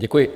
Děkuji.